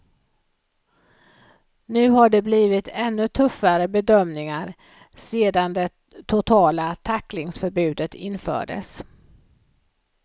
Nu har det blivit ännu tuffare bedömningar sedan det totala tacklingsförbudet infördes.